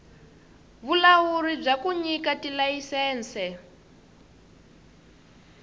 vulawuri bya ku nyika tilayisense